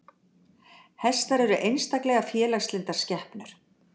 Hestar eru einstaklega félagslyndar skepnur.